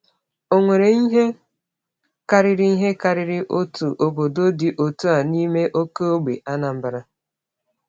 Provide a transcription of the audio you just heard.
Enwere ihe karịrị ihe karịrị otu obodo dị otu a n’ime oke ógbè Anambra.